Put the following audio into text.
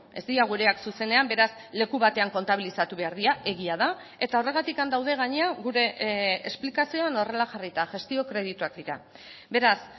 ez dira gureak zuzenean beraz leku batean kontabilizatu behar dira egia da eta horregatik daude gainera gure esplikazioan horrela jarrita gestio kredituak dira beraz